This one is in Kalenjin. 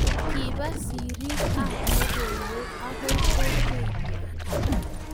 Kiba serii ab lokoiwek okoi kokwee ngwang.